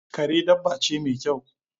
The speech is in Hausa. Kare dabba ce mai kyau